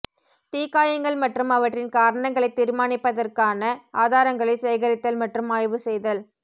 தீக்காயங்கள் மற்றும் அவற்றின் காரணங்களைத் தீர்மானிப்பதற்கான ஆதாரங்களை சேகரித்தல் மற்றும் ஆய்வு செய்தல்